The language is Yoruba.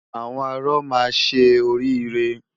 Àwọn arọ máa ṣe orí irẹ.